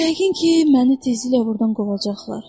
Yəqin ki, məni tezliklə buradan qovacaqlar.